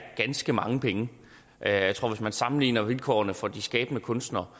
ganske mange penge jeg tror at hvis man sammenligner vilkårene for de skabende kunstnere